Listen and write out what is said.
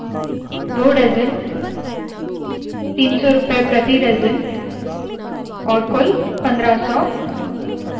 2 dozen 300 रुपए प्रति dozen और कुल पन्द्रह सौ